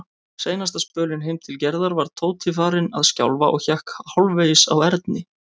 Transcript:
Seinasta spölinn heim til Gerðar var Tóti farinn að skjálfa og hékk hálfvegis á Erni.